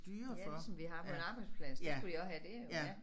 Ja ligesom vi har på en arbejdsplads det skulle de også have der jo ja